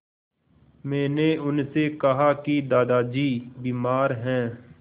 मैंने उनसे कहा कि दादाजी बीमार हैं